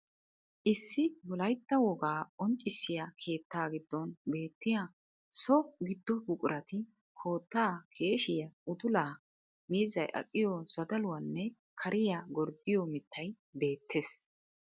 Issi wolaytta wogaa qonccissiya keettaa giddon beetiyaa so giddo buqurati, koottaa, keeshiyaa, uddulaa, miizzay aqiyo zadaluwaanne kariya gorddiyo miitay beettees.